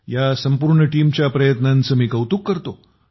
या संपूर्ण टीमच्या प्रयत्नांचे मी कौतुक करतो